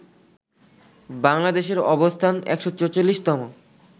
বাংলাদেশের অবস্থান ১৪৪তম